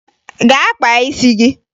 Gaa kpaa isi gị!